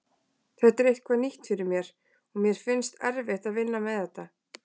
Þetta er eitthvað nýtt fyrir mér og mér finnst erfitt að vinna með þetta.